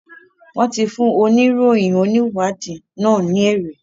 Wón tí fún oníròyìn oniwadii nà ní ère